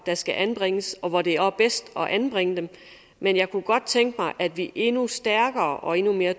der skal anbringes og hvor det er bedst at anbringe dem men jeg kunne godt tænke mig at vi endnu stærkere og endnu mere